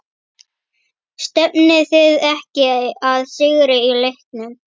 Stefnið þið ekki að sigri í leiknum?